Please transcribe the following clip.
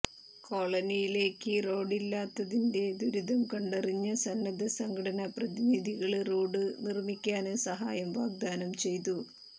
കോളനിയിലേക്ക് റോഡില്ലാത്തതിന്റെ ദുരിതം കണ്ടറിഞ്ഞ സന്നദ്ധ സംഘടനാ പ്രതിനിധികള് റോഡ് നിര്മ്മിക്കാന് സഹായം വാഗ്ദാനം ചെയ്തു